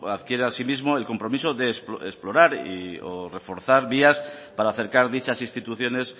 adquiere asimismo el compromiso de explorar o reforzar vías para acercar dichas instituciones